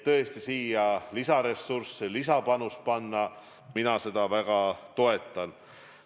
Et sinna lisaressursse panna – mina seda väga toetan.